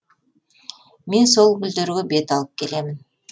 мен сол гүлдерге бет алып келемін